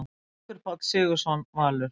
Haukur Páll Sigurðsson, Valur